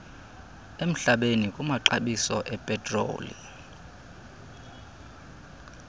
emhlabeni kumaxabiso epetroli